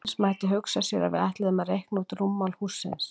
Eins mætti hugsa sér að við ætluðum að reikna út rúmmál hússins.